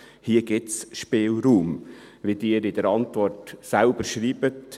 Hier gibt es Spielraum, wie Sie in der Antwort selbst schreiben.